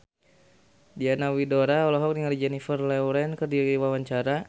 Diana Widoera olohok ningali Jennifer Lawrence keur diwawancara